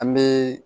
An bɛ